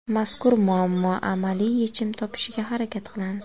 Mazkur muammo amaliy yechim topishiga harakat qilamiz.